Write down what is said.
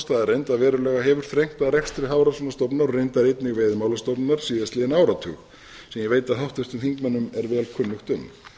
staðreynd að verulega hefur þrengt að rekstri hafrannsóknastofnunar og reyndar einnig veiðimálastofnunar síðastliðinn áratug sem ég veit að háttvirtum þingmönnum er vel kunnugt um